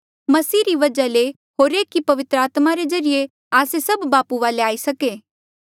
मसीह री वजहा ले होर एक ही पवित्र आत्मा रे ज्रीए आस्से सभ बापू वाले आई सके